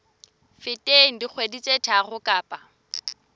feteng dikgwedi tse tharo kapa